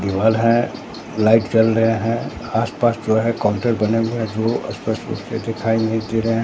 दीवाल है लाइट जल रहे हैं आस-पास जो है कॉन्टर बने हुए हैं जो स्पष्ट रूप से दिखाई नहीं दे रहे हैं।